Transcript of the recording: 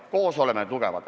Koos oleme tugevad.